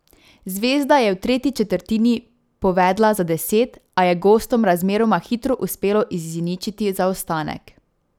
Zvezda je v tretji četrtini povedla za deset, a je gostom razmeroma hitro uspelo izničiti zaostanek.